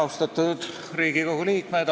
Austatud Riigikogu liikmed!